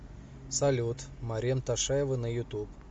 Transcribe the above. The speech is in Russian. салют марем ташаева на ютуб